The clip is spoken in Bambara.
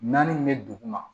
Naani min bɛ dugu ma